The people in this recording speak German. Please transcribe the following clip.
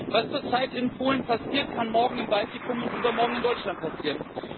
Was zurzeit in Polen passiert, kann morgen im Baltikum und übermorgen in Deutschland passieren.